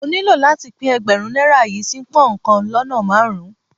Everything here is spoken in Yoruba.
Mo nílò láti pín Ẹgbẹ̀rún náírà yí sí pón kan lọ́nà márùn-ún.